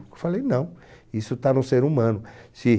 Eu falei, não, isso está no ser humano. Se